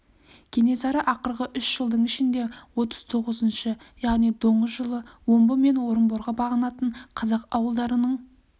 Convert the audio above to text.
кенесары ақырғы үш жылдың ішінде отыз тоғызыншы яғни доңыз жылы омбы мен орынборға бағынатын қазақ ауылдарының